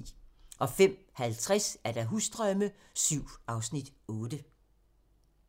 05:50: Husdrømme VII (Afs. 8)